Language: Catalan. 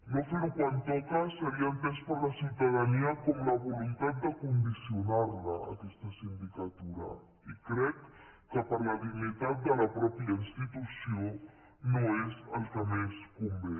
no ferho quan toca seria entès per la ciutadania com la voluntat de condicionarla aquesta sindicatura i crec que per la dignitat de la mateixa institució no és el que més convé